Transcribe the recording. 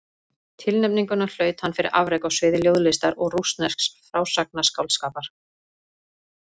Tilnefninguna hlaut hann fyrir afrek á sviði ljóðlistar og rússnesks frásagnarskáldskapar.